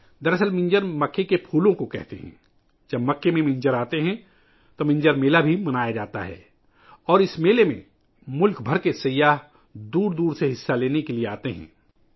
در اصل منجر مکا کے پھولوں کو کہتے ہیں ، جب مکا میں پھول آتے ہیں ، تو منجر میلہ بھیا منایا جاتا ہے اور اس میلے میں ملک بھر سے سیاح شرکت کے لئے دور دور سے آتے ہیں